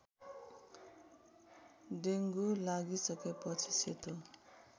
dengue लागिसकेपछि सेतो